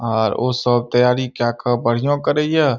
आर ओ सब तैयारी केए के बढ़िया करे ये।